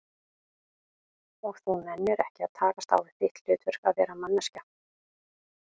Og þú nennir ekki að takast á við þitt hlutverk, að vera manneskja?